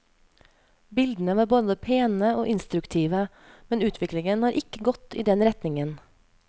Bildene var både pene og instruktive, men utviklingen har ikke gått i den retningen.